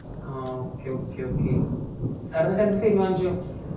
ആ okay okay okay sir എന്നിട്ട് എന്ത് തീരുമാനിച്ചു